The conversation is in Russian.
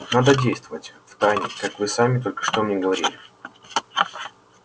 надо действовать втайне как вы сами только что мне говорили